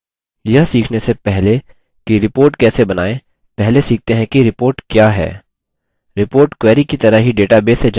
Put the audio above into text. यह सीखने से पहले कि report कैसे बनाएँ पहले सीखते हैं कि report क्या है